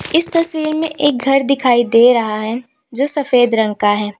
इस तस्वीर में एक घर दिखाई दे रहा है जो सफेद रंग का है।